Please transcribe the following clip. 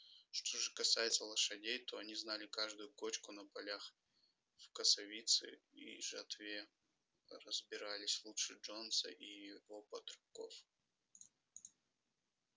что же касается лошадей то они знали каждую кочку на полях в косовице и жатве разбирались лучше джонса и его батраков